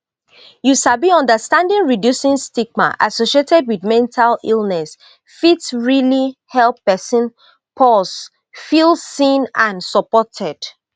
you sabi understanding reducing stigma associated wit mental illness fit realli help pesin pause feel seen and supported